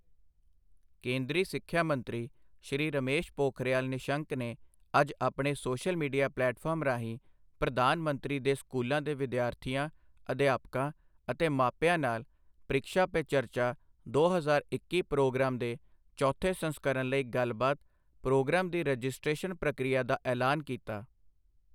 ਕੇਂਦਰੀ ਸਿੱਖਿਆ ਮੰਤਰੀ ਸ਼੍ਰੀ ਰਮੇਸ਼ ਪੋਖਰਿਯਾਲ ਨਿਸ਼ੰਕ ਨੇ ਅੱਜ ਆਪਣੇ ਸੋਸ਼ਲ ਮੀ਼ਡੀਆ ਪਲੇਟਫਾਰਮ ਰਾਹੀਂ ਪ੍ਰਧਾਨ ਮੰਤਰੀ ਦੇ ਸਕੂਲਾਂ ਦੇ ਵਿਦਿਆਰਥੀਆਂ, ਅਧਿਆਪਕਾਂ ਅਤੇ ਮਾਪਿਆਂ ਨਾਲ ਪ੍ਰੀਕਸ਼ਾ ਪੇ ਚਰਚਾ ਦੋ ਹਜ਼ਾਰ ਇੱਕੀ ਪ੍ਰੋਗਰਾਮ ਦੇ ਚੋਥੇ ਸੰਸਕਰਨ ਲਈ ਗੱਲਬਾਤ ਪ੍ਰੋਗਰਾਮ ਦੀ ਰਜਿਸਟ੍ਰੇਸ਼ਨ ਪ੍ਰਕ੍ਰਿਆ ਦਾ ਐਲਾਨ ਕੀਤਾ।